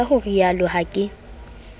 ka ho rialo ha ke